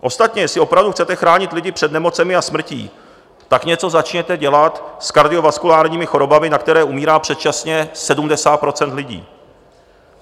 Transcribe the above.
Ostatně jestli opravdu chcete chránit lidi před nemocemi a smrtí, tak něco začněte dělat s kardiovaskulárními chorobami, na které umírá předčasně 70 % lidí.